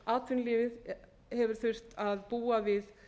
atvinnulífið hefur þurft að búa við